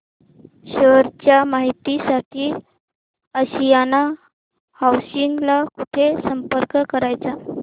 share च्या माहिती साठी आशियाना हाऊसिंग ला कुठे संपर्क करायचा